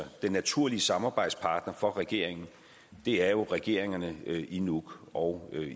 naturlige samarbejdspartnere for regeringen er jo regeringerne i nuuk og